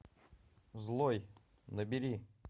злой набери